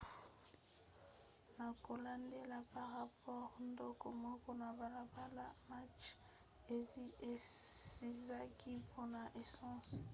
na kolandela barapore ndako moko na balabala macbeth ezikaki mpona esanse